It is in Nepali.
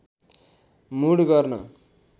मुड गर्न